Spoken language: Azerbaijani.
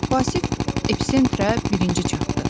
Vasif episentrə birinci çatdı.